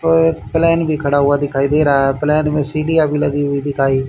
और प्लेन भी खड़ा हुआ दिखाई दे रहा है प्लेन में सीढियां भी लगी हुई दिखाई--